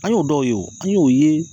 An y'o dɔw ye o an y'o ye